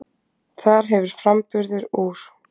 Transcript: Þar hefur framburður úr